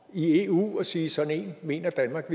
i eu og sige sådan en mener danmark at